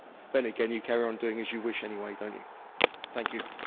But then again, you carry on doing as you wish anyway, do you not?